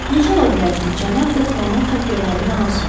Necə ola bilər ki, cənab Dekronun xəfiyyələri yanılsın.